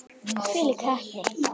Hvílík heppni!